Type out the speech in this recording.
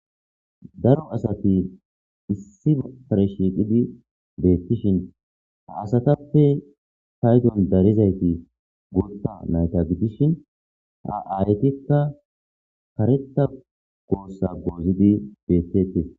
Daro asat issi bessan shiiqidi beettishin ha asatappe paydon darizayti guutha nayta gidishin ha aayetikka kareththa goosse goozidi beetteetes.